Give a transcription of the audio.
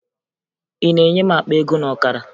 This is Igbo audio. Ị na-enye m akpa ego na ọkara?